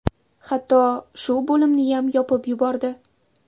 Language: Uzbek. Hatto shu bo‘limniyam yopib yubordi.